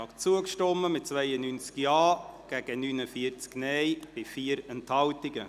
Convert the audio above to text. Sie haben diesem Antrag zugestimmt, mit 92 Ja- gegen 49 Nein-Stimmen bei 4 Enthaltungen.